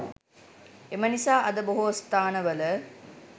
එම නිසා අද බොහෝ ස්ථානවල